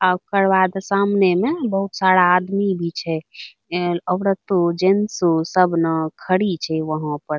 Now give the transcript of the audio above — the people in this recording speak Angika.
अ ओकर बाद सामने में बहुत सारा आदमी भी छे | ए औरतो जेंट्स सब न खड़ी छे वहाँ पर |